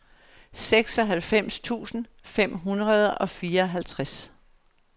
seksoghalvfems tusind fem hundrede og fireoghalvtreds